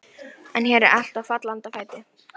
En hér er allt á fallanda fæti.